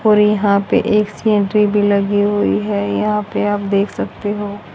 और यहां पे एक भी लगी हुई है यहां पे आप देख सकते हो।